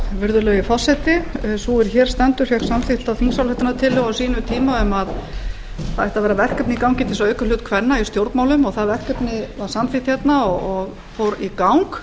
virðulegi forseti sú er hér stendur fékk samþykkta þingsályktunartillögu á sínum tíma um að það ætti að vera verkefni í gangi til þess að auka hlut kvenna í stjórnmálum og það verkefni var samþykkt hérna og fór í gang